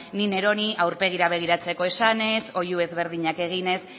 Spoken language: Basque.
ni neroni aurpegira begiratzeko esanez oihu ezberdinak eginez